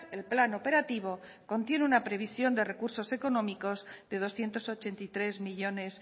el plan operativo contiene una previsión de recursos económicos de doscientos ochenta y tres millónes